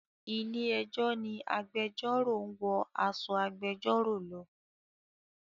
Ilé ẹjọ́ ni agbẹjọ́rò ń wọ aṣọ agbẹjọ́rò lọ.